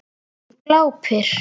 Hún glápir.